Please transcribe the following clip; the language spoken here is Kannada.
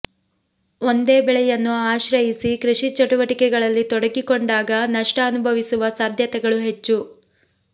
ಒಂದೇ ಬೆಳೆಯನ್ನು ಆಶ್ರಯಿಸಿ ಕೃಷಿ ಚಟುವಟಿಕೆಗಳಲ್ಲಿ ತೊಡಗಿಕೊಂಡಾಗ ನಷ್ಟ ಅನುಭವಿಸುವ ಸಾಧ್ಯತೆಗಳು ಹೆಚ್ಚು